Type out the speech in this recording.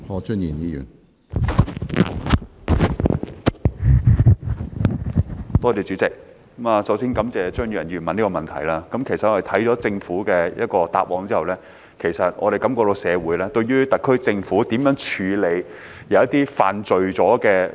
主席，我首先感謝張宇人議員提出這個問題，其實我們看到政府的答覆後，感覺社會對於特區政府如何處理一些犯事的老師......